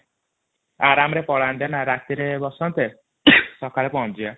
ଆରମରେ ପଳାନ୍ତେ ନା ରାତିରେ ବସନ୍ତେ ସକାଳେ ପହଞ୍ଚିଜିଆ ।